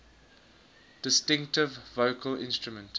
distinctive vocal instrument